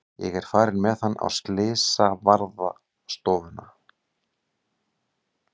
Ég er farin með hann á slysavarðstofuna.